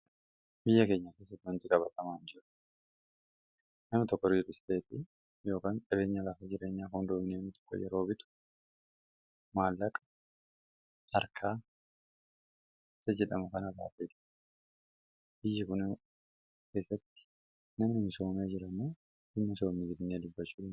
biyya keenya ss mnxiqabaxamanjiru mama tkkr j stt yokan qabeenya lafa jrenya hondmnmi tiko yeroobitu maalaq arka sjidmu kana babelu iji gun sk nam msm jrama immisma gdna lubbacu